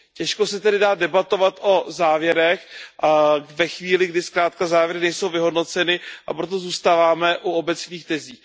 Těžko se tedy dá debatovat o závěrech ve chvíli, kdy zkrátka závěry nejsou vyhodnoceny, a proto zůstáváme u obecných tezí.